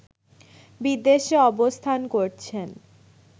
বিদেশে অবস্থান করছেন